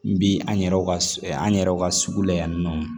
N bi an yɛrɛw ka an yɛrɛw ka sugu lo yan nɔ